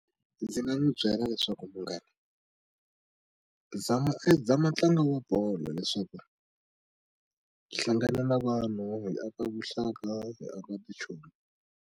Ndzi nga n'wi byela leswaku munghana zama zama ntlangu wa bolo leswaku hlangana na vanhu hi aka vuxaka hi aka vuchomi.